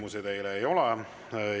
Küsimusi teile ei ole.